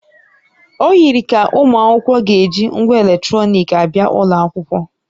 O yikarịrị ka ụmụ akwụkwọ ga-eji ngwa eletrọnịkị abịa ụlọ akwụkwọ